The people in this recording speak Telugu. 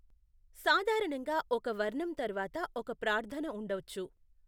సాధారణంగా ఒక వర్ణం తర్వాత ఒక ప్రార్ధన ఉండొచ్చు.